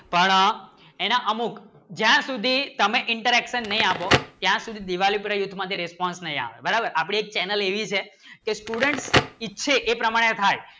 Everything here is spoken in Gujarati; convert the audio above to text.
પણ એના અમુક જ્યાં સુધી તમે interaction નહિ આપો ત્યાં સુધી દિવાળી માટે response નહિ આવશે બરાબર અપને એક ચેનલ એવી છે કી student ઈથે એ પ્રમાણે થાય